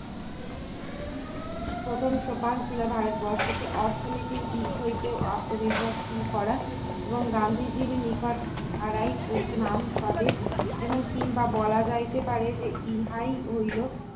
প্রথম সোপান ছিল ভারতবর্ষকে অর্থনীতির দিক হইতে আত্মনির্ভরশীল করা এবং গান্ধীজীর নিকট ইহারায় নাম সবে এবং কিংবা বলা যাইতে পারে ইহাই হইল